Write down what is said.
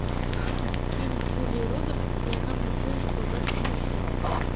фильм с джулией робертс где она влюбилась в богатого мужчину